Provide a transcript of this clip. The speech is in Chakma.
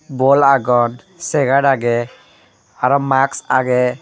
bol agon segar agey arow max agey.